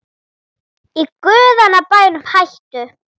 Í guðanna bænum hættu